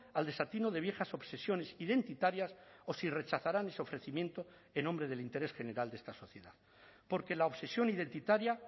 al desatino de viejas obsesiones identitarias o si rechazarán ese ofrecimiento en nombre del interés general de esta sociedad porque la obsesión identitaria